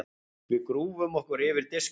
Við grúfum okkur yfir diskana.